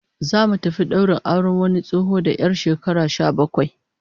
Zamu tafi daurin auren wani tsoho da 'yar shekara sha bakwai